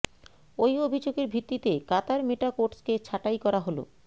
ওই অভিযোগের ভিত্তিতে কাতার মেটা কোটসকে ছাঁটাই করা হল